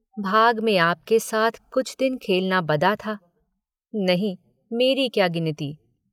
भाग में आपके साथ कुछ दिन खेलना बदा था नहीं मेरी क्या गिनती।